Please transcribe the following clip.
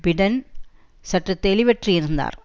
Biden சற்று தெளிவற்று இருந்தார்